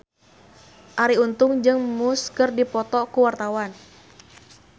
Arie Untung jeung Muse keur dipoto ku wartawan